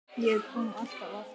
Ég kom alltaf aftur.